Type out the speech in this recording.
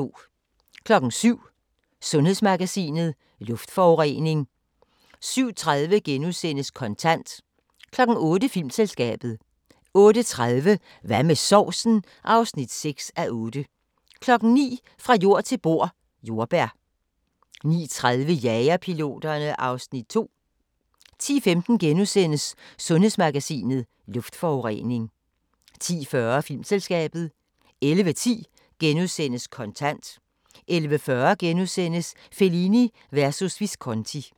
07:00: Sundhedsmagasinet: Luftforurening 07:30: Kontant * 08:00: Filmselskabet 08:30: Hvad med sovsen? (6:8) 09:00: Fra jord til bord: Jordbær 09:30: Jagerpiloterne (Afs. 2) 10:15: Sundhedsmagasinet: Luftforurening * 10:40: Filmselskabet 11:10: Kontant * 11:40: Fellini versus Visconti *